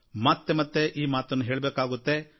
ಮತ್ತೆ ಮತ್ತೆ ಈ ಮಾತನ್ನು ಹೇಳಬೇಕಾಗುತ್ತೆ